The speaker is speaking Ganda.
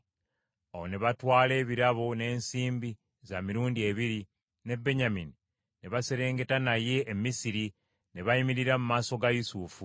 Awo ne batwala ebirabo n’ensimbi za mirundi ebiri, ne Benyamini ne baserengeta naye e Misiri ne bayimirira mu maaso ga Yusufu.